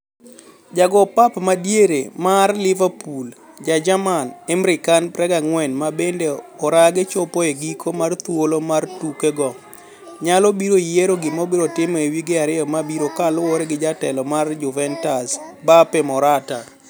Ja go pap madiere mar Liverpool ja jerman Emre Can, 24, ma bende orage chopo e giko mar thuolo mar tuke go onyalo biro yiero gima obiro timo e wige ariyo mabirokaluore gi jatelo mar Juventus Beppe Marotta.